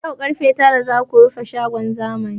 Daga yau karfe tara za ku rufe shagon zamani!